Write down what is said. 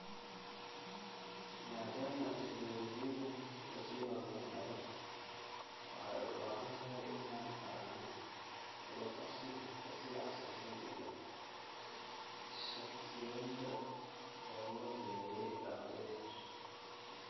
Maadaama teknoolojiyaddan la sii horumarinayo, waxay u badan tahay inaan aragno la qabsi ka sii casrisan iyo shaqsiyeynta oo loo diyaariyay ardayda.